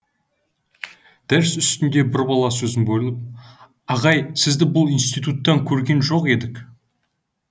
дәріс үстінде бір бала сөзін бөліп ағай сізді бұл институттан көрген жоқ едік